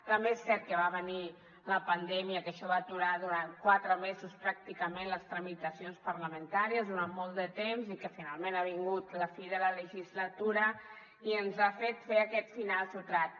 també és cert que va venir la pandèmia que això va aturar durant quatre mesos pràcticament les tramitacions parlamentàries durant molt de temps i que finalment ha vingut la fi de la legislatura i ens ha fet fer aquest final sobtat